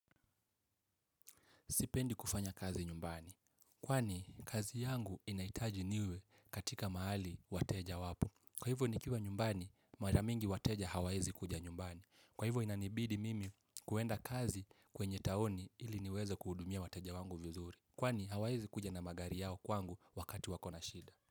Sipendi kufanya kazi nyumbani. Kwani, kazi yangu inahitaji niwe katika mahali wateja wapo. Kwa hivyo ni kiwa nyumbani, maramingi wateja hawaezi kuja nyumbani. Kwa hivyo inanibidi mimi kwenda kazi kwenye taoni ili niweze kuhudumia wateja wangu vizuri. Kwani, hawawezi kuja na magari yao kwangu wakati wakona shida.